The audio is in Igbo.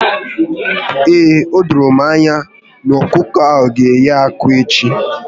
Ee, odoro m anya na ọkụkọ ahụ g'eyi akwa echi